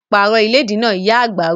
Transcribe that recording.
Pààrọ̀ ìlédìí náà! Ìyá àgbà wí